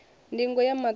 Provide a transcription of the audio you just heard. ndingo ya maṱo i ḓo